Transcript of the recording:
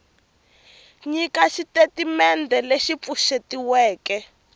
nyiketa xitatimendhe lexi pfuxetiweke xa